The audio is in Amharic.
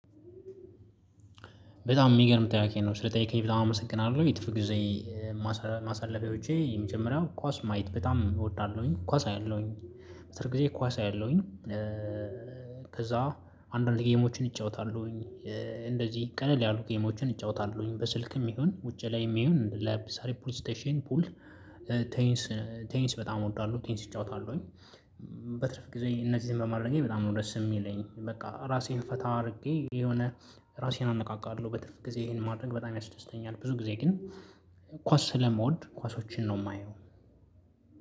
በጣም የሚገርም ጥያቄ ነው ስለጠየቀኝ በጣም አመሰግናለሁ የጥርፍ ጊዜ። ማሰለፊያዎቼ የመጀመሪያው ኳስ ማየት በጣም እወዳለሁኝ ኳስ አያለሁኝ በትርፍ ጊዜ ኳስ አያለሁኝ። ከዛ አንዳንድ ጌሞችን እጫወታለሁኝ። እንደዚህ ቀለል ያሉ ጌሞችን እጫወታለሁኝ በስልክም ይሁን ውጪ ላይም ይሁን ለምሳሌ ፑል ስቴሽን ፑል ቴንስ ቴንስ በጣም እወዳለሁ ቴንስ እጫወታለሁኝ። በትርፍ ጊዜ እነዚህን በማድረጌ በጣም ነው ደስ የሚለኝ። በቃ ራሴን ፈታ አድርጌ የሆነ ራሴን አነቃቃለሁ። በትርፍ ጊዜ ይሄን ማድረግ በጣም ያስደስተኛል። ብዙ ጊዜ ግን ኳስ ስለምወድ ኳሶችን ነው የማየው።